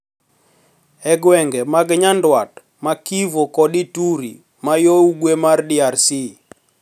E gwenge mag Nyandwat ma Kivu kod Ituri man yo ugwe mar DRC